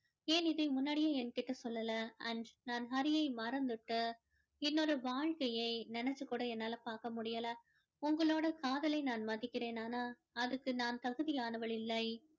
ஏன் இதை முன்னாடியே எங்கிட்ட சொல்லல and நான் ஹரியை மறந்துட்டு இன்னொரு வாழ்க்கையை நினைச்சு கூட என்னால பார்க்க முடியல உங்களோட காதலை நான் மதிக்கிறேன் ஆனால் அதுக்கு நான் தகுதியானவள் இல்லை